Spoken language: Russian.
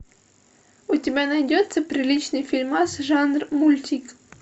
у тебя найдется приличный фильмас жанр мультик